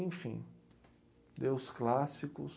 Enfim, lê os clássicos.